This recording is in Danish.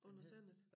Under Sandet